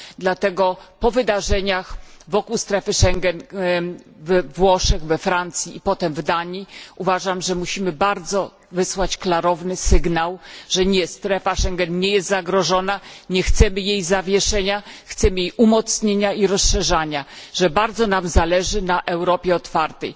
Dlatego po wydarzeniach wokół strefy Schengen we Włoszech, we Francji i potem w Danii uważam, że musimy wysłać bardzo klarowny sygnał, że nie, strefa Schengen nie jest zagrożona, nie chcemy jej zawieszenia, chcemy jej umocnienia i rozszerzania, że bardzo nam zależy na Europie otwartej.